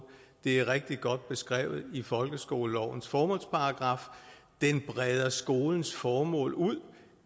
det er rigtig godt beskrevet i folkeskolelovens formålsparagraf den breder også skolens formål ud